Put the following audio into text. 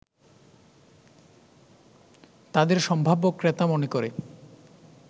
তাদের সম্ভাব্য ক্রেতা মনে করে